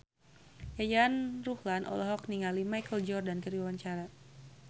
Yayan Ruhlan olohok ningali Michael Jordan keur diwawancara